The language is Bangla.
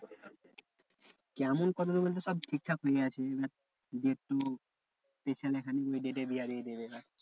কেমন কতদূর বলতে? সব ঠিকঠাক হয়ে আছে এবার যেহেতু ওই date এই বিয়া দিয়ে দেবে এবার।